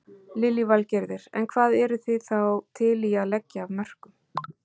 Lillý Valgerður: En hvað eruð þá þið til í að leggja af mörkum?